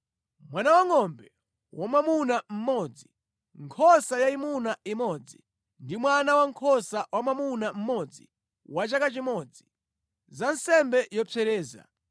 mwana wangʼombe wamwamuna mmodzi, nkhosa yayimuna imodzi ndi mwana wankhosa wamwamuna mmodzi wa chaka chimodzi, za nsembe yopsereza;